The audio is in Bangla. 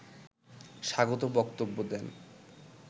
স্বাগত বক্তব্য দেন